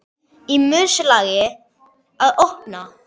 Í umslagi að opna.